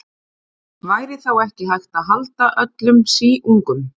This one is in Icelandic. Væri þá ekki hægt að halda öllum síungum.